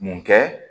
Mun kɛ